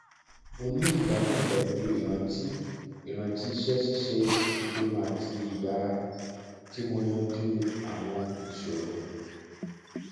mo ni igbadun pẹlu iranti iranti iṣẹ ṣiṣe ipinnu ati iyara ti mo yanju awọn iṣoro